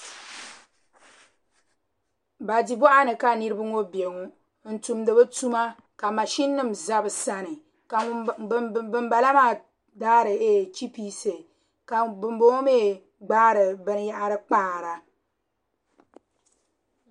Banchi boɣa ni ka niraba ŋobbɛ ŋo n tumdi bi tuma ka mashin nim ʒɛ bi sani ka binbala maa daari chipisi ka bunboŋo mii gbaari binyahari paara